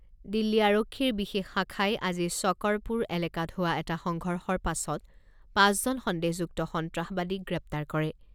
দিল্লী আৰক্ষীৰ বিশেষ শাখাই আজি শ্বকৰপুৰ এলেকাত হোৱা এটা সংঘৰ্ষৰ পাছত পাঁচজন সন্দেহযুক্ত সন্ত্ৰাসবাদীক গ্ৰেপ্তাৰ কৰে।